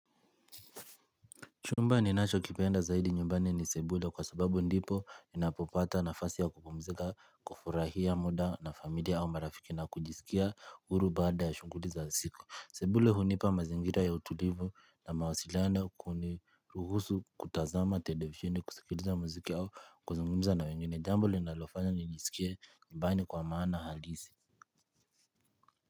Chumba ninachokipenda zaidi nyumbani ni sebule kwa sababu ndipo ninapopata nafasi ya kupumzika, kufurahia muda na familia au marafiki na kujisikia huru baada ya shughuli za siku. Sebule hunipa mazingira ya utulivu na mawasiliano kuni, kuhusu kutazama televisheni, kusikiliza mziki au kuzungumza na wengine, jambo linalofanya nijisikie nyumbani kwa maana halisi.